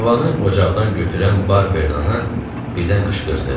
Tabanı ocaqdan götürən barbernana birdən qışqırdı.